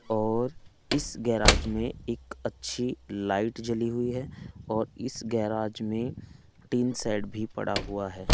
और इस गैराज में एक अच्छी लाइट जली हुई है और इस गैराज में टीन शेड भी पड़ा हुआ है।